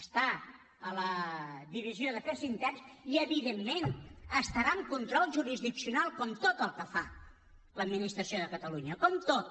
està a la divisió d’afers interns i evidentment estarà en control jurisdiccional com tot el que fa l’administració de catalunya com tot